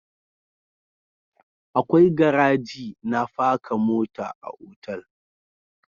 Akwai garaji na paka mota a otal